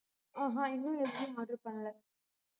ஆஹ் அஹ் இன்னும் எதுவும் order பண்ணல.